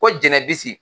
Ko jɛnɛ bisi